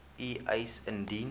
u eis indien